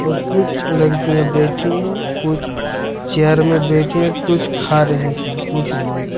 और कुछ लड़कियां बैठी है कुछ चेयर में बैठे हैं कुछ खा रहे हैं कुछ लोग।